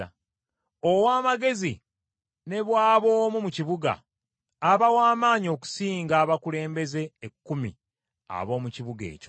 Ow’amagezi ne bw’aba omu mu kibuga, aba w’amaanyi okusinga abakulembeze ekkumi ab’omu kibuga ekyo.